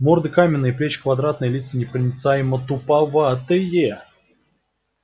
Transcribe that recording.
морды каменные плечи квадратные лица непроницаемо-туповатые